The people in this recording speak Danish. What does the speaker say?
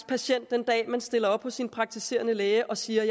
patient den dag man stiller op hos sin praktiserende læge og siger at